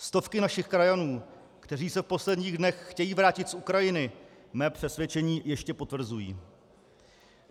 Stovky našich krajanů, kteří se v posledních dnech chtějí vrátit z Ukrajiny, mé přesvědčení ještě potvrzují.